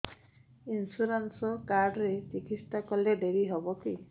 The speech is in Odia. ଇନ୍ସୁରାନ୍ସ କାର୍ଡ ରେ ଚିକିତ୍ସା କଲେ ଡେରି ହବକି